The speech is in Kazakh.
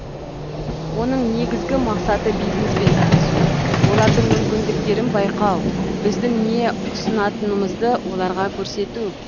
оның негізгі мақсаты бизнеспен танысу олардың мүмкіндіктерін байқау біздің не ұсынатынымызды оларға көрсету